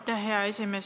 Aitäh, hea esimees!